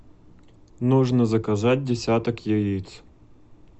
нужно заказать десяток яиц